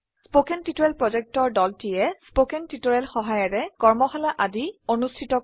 কথন শিক্ষণ প্ৰকল্পৰ দলটিয়ে কথন শিক্ষণ সহায়িকাৰে কৰ্মশালা আদি অনুষ্ঠিত কৰে